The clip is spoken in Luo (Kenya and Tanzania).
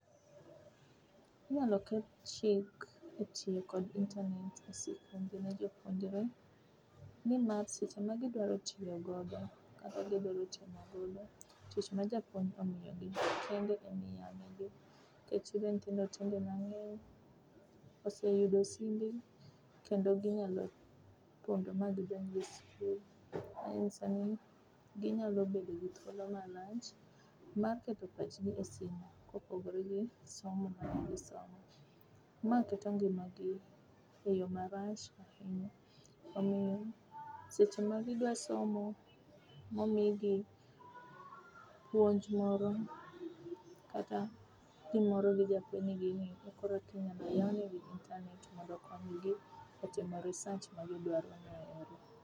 Inyalo ket chik e tiyo kod internet e seche ma jopuonjre nimar seche ma gidwaro tiyo godo kata gidhi timo godo tich ma japuonj omiyogi, kende emiyawo negi nikech nitiere nyithindo tinde mang'eny, oseyudo simbe kendo ginyalo pondo ma gidonj e facebook, ginyalo bedo gi thuolo malach mar keto pachgi e sim kopogore gi somo magisomo. Ma keto ngimagi e yo marach, omiyo seche magidwa somo, momigi ,puonj moro kata gimoro gi japuonj ni ging'i, koro eka ginyalo yawnegi internet mondo okonygi e timo research magidwarono .